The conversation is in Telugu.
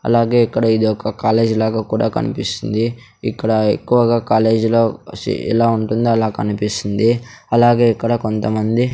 అలాగే ఇక్కడ ఇదొక కాలేజీ లాగా కూడా కనిపిస్తుంది ఇక్కడ ఎక్కువగా కాలేజీ లో సీ ఎలా ఉంటుందో అలా కనిపిస్తుంది అలాగే ఇక్కడ కొంతమంది --